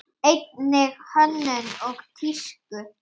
Einnig hönnun og tísku.